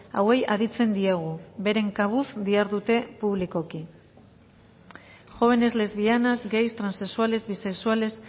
hauei aditzen diegu beren kabuz dihardute publikoki jóvenes lesbianas gays transexuales bisexuales